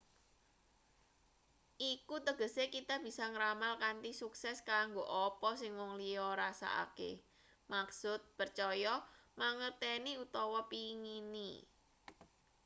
iku tegese kita bisa ngramal kanthi sukses kanggo apa sing wong liya rasakake maksud percaya mangerteni utawa pengini